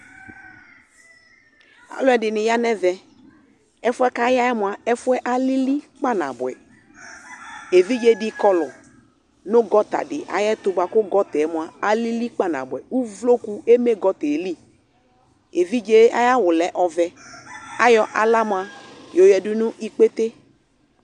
Alʋɛdɩnɩ ya nʋ ɛvɛ Ɛfʋ yɛ kʋ aya yɛ mʋa, ɛfʋ yɛ alili kpanabʋɛ Evidze dɩ kɔlʋ nʋ gɔta dɩ ayɛtʋ bʋa kʋ gɔta yɛ mʋa, alili kpanabʋɛ Uvloku eme gɔta yɛ li Evidze yɛ ayʋ awʋ lɛ ɔvɛ Ayɔ aɣla mʋa, yɔyǝdu nʋ ikpete